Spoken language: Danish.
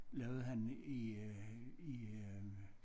Lavede han i øh i øh